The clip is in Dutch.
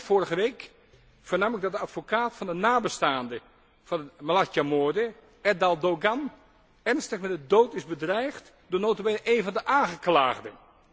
Eind vorige week vernam ik dat de advocaat van de nabestaanden van de Malatya moorden, Erdal Doğan, ernstig met de dood is bedreigd door nota bene één van de aangeklaagden!